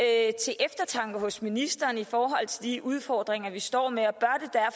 ikke til eftertanke hos ministeren i forhold til de udfordringer vi står med